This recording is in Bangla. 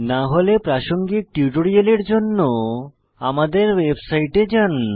না হলে প্রাসঙ্গিক টিউটোরিয়ালের জন্য প্রদর্শিত আমাদের ওয়েবসাইটে যান